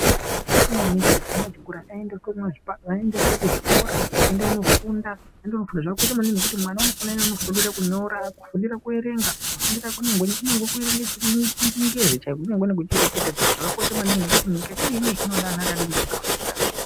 Zvakakosha maningi kuti vana echikora aende kofunda. Zvakakosha maningi ngekuti unofanira kufundira kunyora, kufundira kuerenga, kufundira kunyangwe kuerenge chingezi chaiko, kunyangwe nekuchireketa zvakakosha maningi. Ngekuti nyika yatiri inei inoda vana vakafunda.